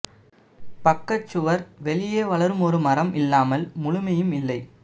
பக்க சுவர் வெளியே வளரும் ஒரு மரம் இல்லாமல் முழுமையும் இல்லை